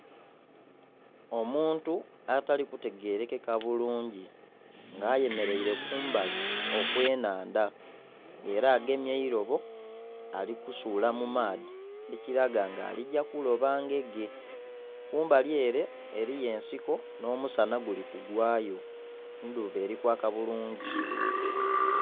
Omuntu atali kutegerekeka bulungi nga ayemeraire kumbali okwenhandha era agemye eirobo alikusula mumaadhi ekiraga nga aligya kuloba ngege kumbali ere eriyo ensiko n'omusana gulikugwa yo endhuba erikwaka bulungi.